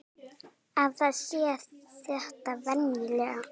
Að það sé þetta venjulega.